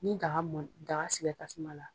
Ni daga mɔna daga sigira tasuma la